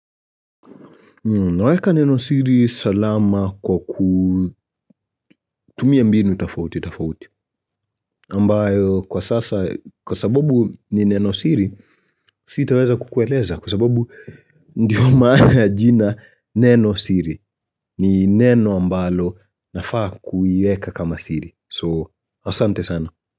Naweka neno siri salama kwa kutumia mbinu tafauti tafauti ambayo kwa sasa kwa sababu ni neno siri sitaweza kukueleza Kwa sababu ndiyo maana ya jina neno siri ni neno ambalo nafaa kuiweka kama siri So asante sana.